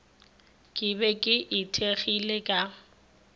ke be ke ithekgile ka